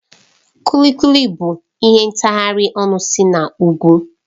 Kuli Kuli bụ ihe ntaghari ọnụ si n'ugwu